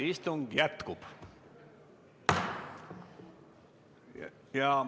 Istung jätkub.